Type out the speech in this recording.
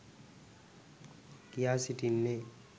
කියා සිටින්නේ.